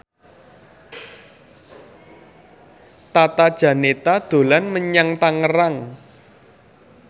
Tata Janeta dolan menyang Tangerang